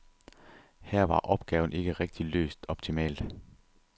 Her var opgaven ikke rigtig løst optimalt.